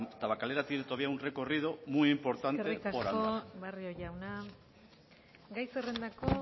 tabakalera tiene todavía un recorrido muy importante por andar eskerrik asko barrio jauna gai zerrendako